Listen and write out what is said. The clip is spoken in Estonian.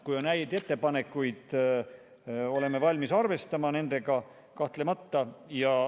Kui on häid ettepanekuid, oleme kahtlemata valmis nendega arvestama.